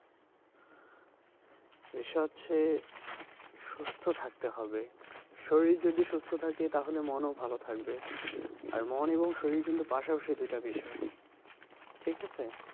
বিষয় হচ্ছে সুস্থ থাকতে হবে, শরীর যদি সুস্থ থাকে তাহলে মন ও ভালো থাকবে আর মন এবং শরীর কিন্তু পাশা পাশি দুইটা বিষয় ঠিক আছে?